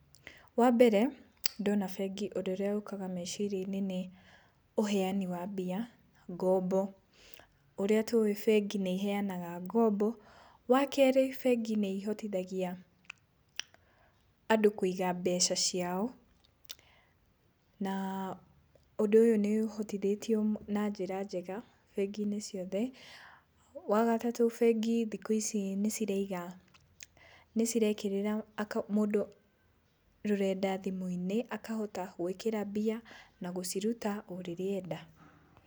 Wa mbere ndona bengi ũndũ ũrĩa ũkaga meciria-inĩ nĩ ũheani wa mbia, ngombo. Ũrĩa tũĩ bengi nĩiheanaga ngombo. Wa kerĩ, bengi nĩihotithagia andũ kũiga mbeca ciao, na ũndũ ũyũ nĩũhotithĩtio na njĩra njega bengi-inĩ ciothe. Wa gatatũ, bengi thikũ ici nĩciraiga nĩcirekĩrĩra mũndũ rũrenda thimũ-inĩ, akahota gwĩkĩra mbia na gũciruta o rĩrĩa enda.